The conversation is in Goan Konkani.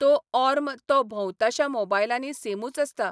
तो ऑर्म तो भोंवताश्या मोबायलांनी सेमूच आसता.